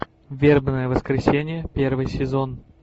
вербное воскресенье первый сезон